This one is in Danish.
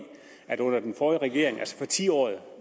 at under den forrige regering altså i tiåret